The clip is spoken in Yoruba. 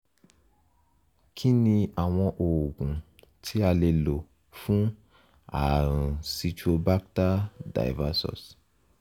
kí ni àwọn oògùn tí a lè lò fún ààrùn citrobacter diversus?